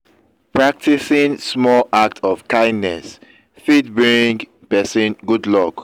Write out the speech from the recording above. practicing small act of kindness fit bring persin good luck